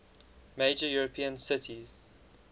major european cities